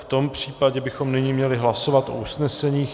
V tom případě bychom nyní měli hlasovat o usneseních.